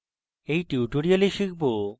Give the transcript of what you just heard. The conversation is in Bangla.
in tutorial আমরা শিখব